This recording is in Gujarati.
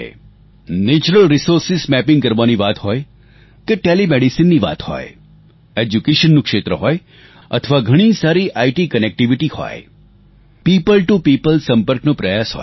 નેચરલ રિસોર્સિસ મેપિંગ કરવાની વાત હોય કે telemedicineની વાત હોય educationનું ક્ષેત્ર હોય અથવા ઘણી સારી ઇટકનેક્ટિવિટી હોય પીઓપલ ટીઓ પીઓપલ સંપર્કનો પ્રયાસ હોય